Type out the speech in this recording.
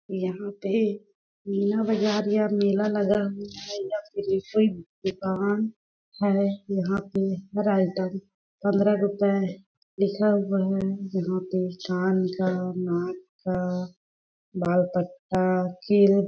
यहाँ पे मीना बाजार या मेला लगा हुआ है या दुकान है यहाँ पे हर आइटम पंद्रह रुपये लिखा हुआ है यहाँ पे चान का नाक का बाल तक का किलिप --